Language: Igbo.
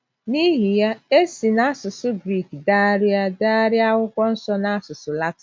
N’ihi ya, e si n’asụsụ Grik degharịa degharịa Akwụkwọ Nsọ n’asụsụ Latịn.